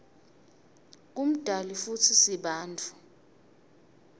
ngumdali futsi sibantfu